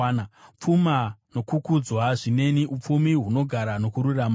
Pfuma nokukudzwa zvineni, upfumi hunogara nokururama.